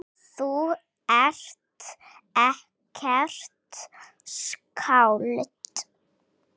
Þú ert ekkert skáld.